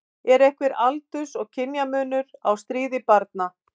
Er einhver aldurs- og kynjamunur á stríðni barna?